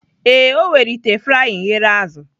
Ee, o were ite frying ghere azụ